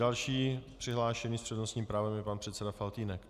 Další přihlášený s přednostním právem je pan předseda Faltýnek.